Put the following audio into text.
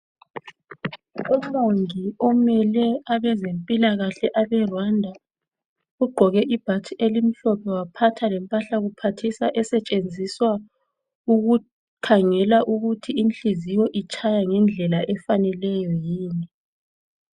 Umongi omele abezempilakahle abe"Rwanda" ugqoke ibhatshi elimhlophe waphatha lempahla kuphathisa esetshenziswa ukukhangela ukuthi inhliziyo itshaya ngendlela efaneleyo yini.